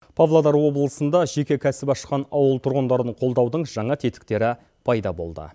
павлодар облысында жеке кәсіп ашқан ауыл тұрғындарының қолдаудың жаңа тетіктері пайда болды